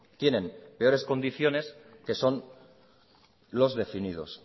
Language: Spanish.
tienen peores condiciones que son los definidos